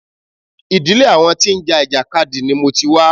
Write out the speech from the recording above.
Ìdílé àwọn tí ń já ìjàkadì ni mo ti wá.